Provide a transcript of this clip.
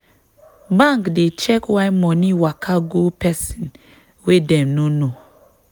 bank dey check why money waka go person wey dem no know.